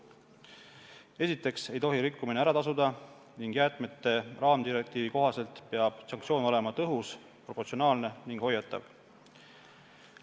Esiteks ei tohi rikkumine ära tasuda ning jäätmete raamdirektiivi kohaselt peab sanktsioon olema tõhus, proportsionaalne ning hoiatav.